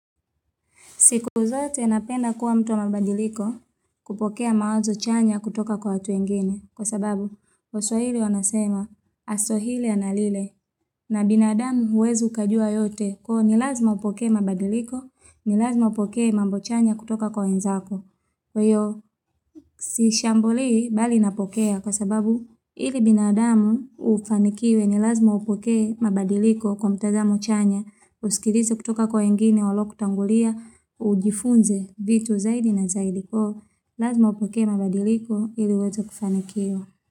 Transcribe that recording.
Siku uzote napenda kuwa mtu wa mabadiliko kupokea mawazo chanya kutoka kwa watu wengini kwa sababu waswahili wanasema aswahili analile na binadamu huwezi ukajua yote kwa ni lazima upokee mabadiliko ni lazima upokee mambo chanya kutoka kwa wenzako. Kwa hiyo, si shambulii bali napokea kwa sababu ili binadamu ufanikiwe ni lazima upokee mabadiliko kwa mtazamo chanya, usikilize kutoka kwa wengine waliokutangulia, Ujifunze vitu zaidi na zaidi kwa hiyo lazima upokee mabadiliko ili uweze kufanikiwa.